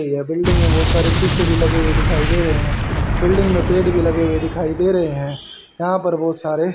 ये बिल्डिंग में बहुत सारे शीशे भी लगे हुए दिखाई दे रहे हैं बिल्डिंग में पेड़ भी लगे हुए दिखाई दे रहे हैं यहां पर बहुत सारे --